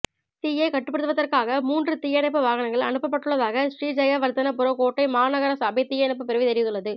தீயைக் கட்டுப்படுத்துவதற்காக மூன்று தீயணைப்பு வாகனங்கள் அனுப்பட்டுள்ளதாக ஶ்ரீஜயவர்தனபுர கோட்டை மாநகரசபை தீயணைப்புப் பிரிவு தெரிவித்துள்ளது